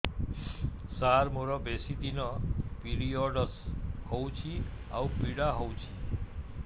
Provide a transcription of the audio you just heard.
ସାର ମୋର ବେଶୀ ଦିନ ପିରୀଅଡ଼ସ ହଉଚି ଆଉ ପୀଡା ହଉଚି